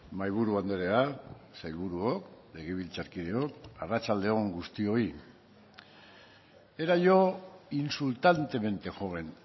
mahaiburu andrea sailburuok legebiltzarkideok arratsalde on guztioi era yo insultantemente joven